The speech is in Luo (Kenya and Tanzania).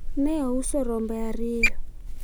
ne ouso rombe ariyo